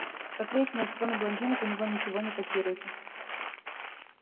как выяснилось кроме блондинок у него ничего не котируется